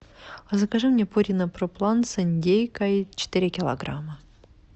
закажи мне пурина про план с индейкой четыре килограмма